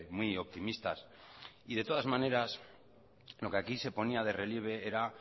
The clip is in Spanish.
muy optimistas y de todas maneras lo que aquí se ponía de relieve era